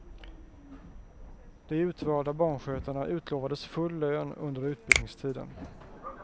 De utvalda barnskötarna utlovades full lön under utbildningstiden.